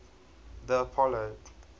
the apollo